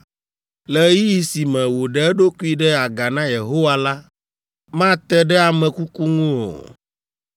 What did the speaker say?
“ ‘Le ɣeyiɣi si me wòɖe eɖokui ɖe aga na Yehowa la, mate ɖe ame kuku ŋu o.